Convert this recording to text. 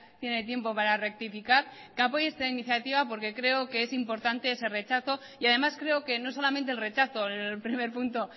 tiene tiempo para rectificar que apoye esta iniciativa porque creo que es importante ese rechazo y además creo que no solamente el rechazo en el primer punto